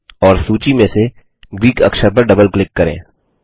और सूची में से ग्रीक अक्षर पर डबल क्लिक करें